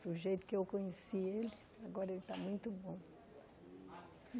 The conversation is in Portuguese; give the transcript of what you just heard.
Do jeito que eu conheci ele, agora ele agora ele está muito bom.